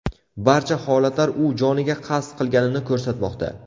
Barcha holatlar u joniga qasd qilganini ko‘rsatmoqda.